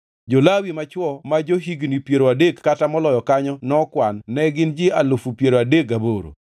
Jo-Lawi machwo ma jo-higni piero adek kata moloyo kanyo nokwan, ne gin ji alufu piero adek gaboro.